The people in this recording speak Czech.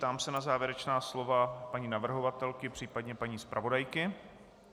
Ptám se na závěrečná slova paní navrhovatelky, případně paní zpravodajky.